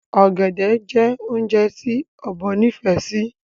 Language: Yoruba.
Ọ̀gẹ̀dẹ̀ jẹ́ oúnjẹ tí Ọ̀bọ nifẹ sì